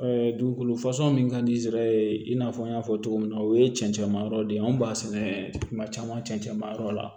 dugukolo min ka di zɛrɛye i n'a fɔ n y'a fɔ cogo min na o ye cɛnccɛn ma yɔrɔ de ye anw b'a sɛnɛ kuma caman cɛn ma yɔrɔ la